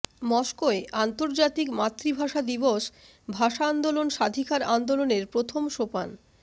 মস্কোয় আন্তর্জাতিক মাতৃভাষা দিবস ভাষা আন্দোলন স্বাধিকার আন্দোলনের প্রথম সোপান